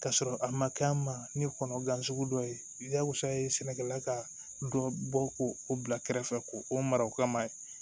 K'a sɔrɔ a ma kɛ an ma ni kɔnɔ gansan sugu dɔ ye jagosa ye sɛnɛkɛla ka dɔ bɔ ko o bila kɛrɛfɛ ko o mara o kama